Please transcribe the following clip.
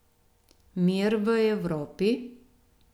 Mir v Evropi?